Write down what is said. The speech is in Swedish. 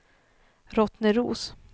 Rottneros